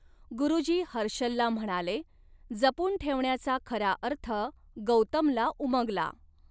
गुरूजी हर्षलला म्हणाले, जपून ठेवण्याचा खरा अर्थ गौतमला उमगला.